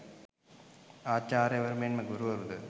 ආචාර්යවරු මෙන් ම ගුරුවරු ද